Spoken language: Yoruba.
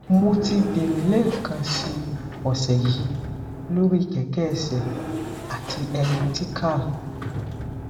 mo ti bẹrẹ lẹ́ẹ̀kan si ọsẹ yi lori kẹkẹ ẹsẹ àti elliptical